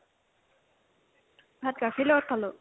ভাত গাখীৰৰ লগত খালো